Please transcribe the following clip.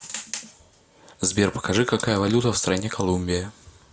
сбер покажи какая валюта в стране колумбия